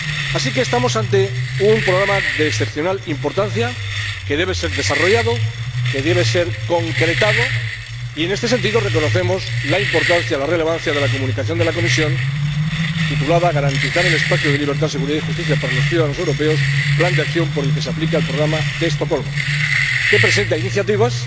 Así que estamos ante un programa de excepcional importancia, que debe ser desarrollado, que debe ser concretado y, en este sentido, reconocemos la relevancia de la Comunicación de la Comisión titulada Garantizar el espacio de libertad, seguridad y justicia para los ciudadanos europeos Plan de Acción por el que se aplica el Programa de Estocolmo, que presenta iniciativas